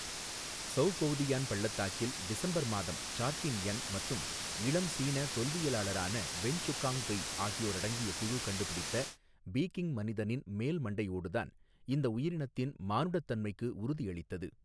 ஸொவ்கொவ்தியான் பள்ளத்தாக்கில் டிசம்பர் மாதம் Chardin Young மற்றும் இளம் சீன தொல்வியலளரான வென்சுகாங் பெய் ஆகியோரடங்கிய குழு கண்டுபிடித்த பீகிங் மனிதனின் மேல்மண்டையோடுதான் இந்த உயிரினத்தின் மானுடத்தன்மைக்கு உறுதி அளித்தது.